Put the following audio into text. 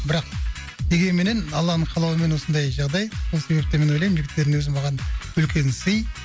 бірақ дегенменен алланың қалауымен осындай жағдай сол себептен мен ойлаймын жігіттердің өзі маған үлкен сый